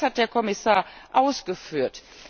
Auch das hat der Kommissar ausgeführt.